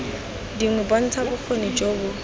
dingwe bontsha bokgoni jo bo